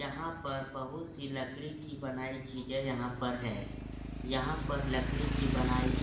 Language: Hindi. यहाँ पर बहोत सी लकड़ी की बनायीं चीजे यहाँ पर हैं। यहाँ पर लकड़ी की बनायीं --